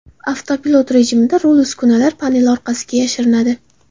Avtopilot rejimida rul uskunalar paneli orqasiga yashirinadi.